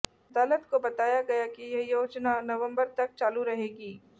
अदालत को बताया गया कि यह योजना नवंबर तक चालू रहेगी